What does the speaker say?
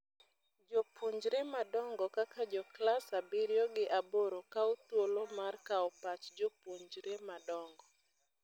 Jopunjre madongo kaka jo class abirio gi aboro kau thuolo mar kao pach jopuonjre madongo.